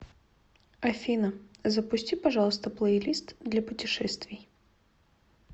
афина запусти пожалуйста плейлист для путешествий